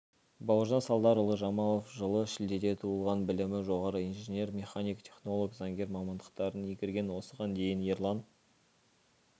бауыржан салдарұлы жамалов жылы шілдеде туылған білімі жоғары инженер-механик технолог заңгер мамандықтарын игерген осыған дейін ерлан